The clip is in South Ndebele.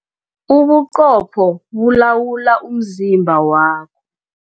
Ubuqopho bulawula umzimba wakho.